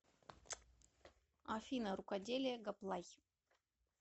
афина рукоделие гоплай